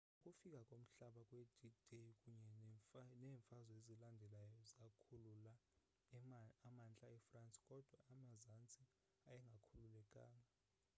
ukufika komhlaba kwe-d-day kunye neemfazwe ezilandelayo zakhulula amantla efrance kodwa amazantsi ayengakhululekanga